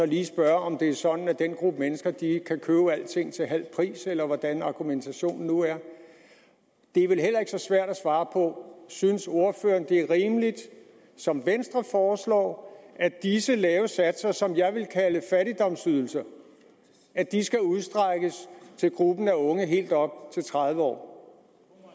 lige spørge om det er sådan at den gruppe mennesker kan købe alting til halv pris eller hvordan argumentationen nu er det er vel heller ikke så svært at svare på synes ordføreren det er rimeligt som venstre foreslår at disse lave satser som jeg ville kalde fattigdomsydelser skal udstrækkes til gruppen af unge helt op til tredive år